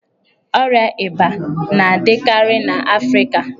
Ọria íbà na-adịkarị n'afrịka.